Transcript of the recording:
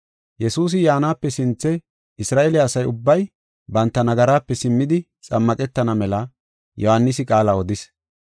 Yesuusi yaanape sinthe Isra7eele asa ubbay banta nagaraape simmidi xammaqetana mela Yohaanisi qaala odis.